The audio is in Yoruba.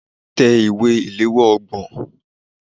Tẹ ìwé ìléwọ́ ọgbọ̀n.